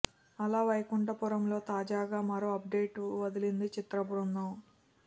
అల వైకుంఠపురములో తాజాగా మరో అప్ డేట్ వదిలింది చిత్రబృందం